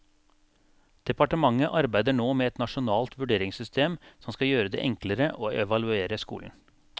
Departementet arbeider nå med et nasjonalt vurderingssystem som skal gjøre det enklere å evaluere skolen.